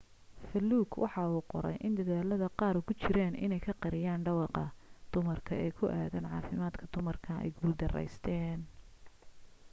fuluuk waxa uu qoray in dedaalada qaaar ugu jiraan inay ku qariyaan dhawaaqa dumarka ee ku aaddan caafimaadka dumarku ay guuldarraysteen